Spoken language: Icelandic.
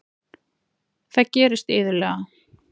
Það gerist iðulega.